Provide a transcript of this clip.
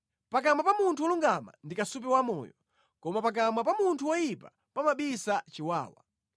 Pakamwa pa munthu wolungama ndi kasupe wamoyo, koma pakamwa pa munthu woyipa pamabisa chiwawa.